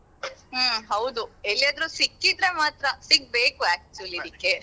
ಹ್ಮ್ ಹೌದು ಎಲ್ಲಿಯಾದ್ರೂ ಸಿಕ್ಕಿದ್ರೆ ಮಾತ್ರ ಸಿಗ್ಬೇಕು actually ಇದಿಕ್ಕೆ.